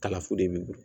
Kalafu de b'i bolo